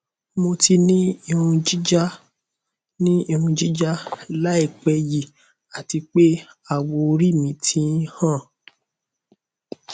mo ti ni irun jija ni irun jija laipe yi ati pe awọori mi ti n han